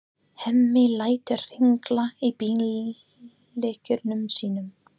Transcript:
Hemmi lætur hringla í bíllyklunum sínum.